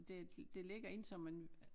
Det det ligger inde så man